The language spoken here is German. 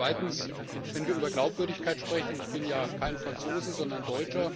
Und zweitens, wenn wir über Glaubwürdigkeit sprechen ich bin ja kein Franzose, sondern Deutscher